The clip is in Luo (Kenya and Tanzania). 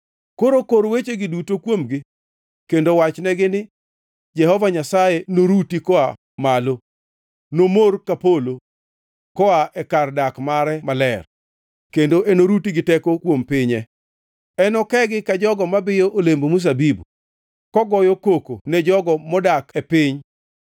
“Koro kor wechegi duto kuomgi kendo wachnegi ni: “ ‘Jehova Nyasaye noruti koa malo; nomor ka polo koa e kar dak mare maler, kendo oruti gi teko kuom pinye. Enokogi ka jogo ma biyo olemb mzabibu, kogoyo koko ne jogo modak e piny.